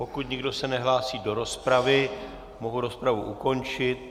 Pokud nikdo se nehlásí do rozpravy, mohu rozpravu ukončit.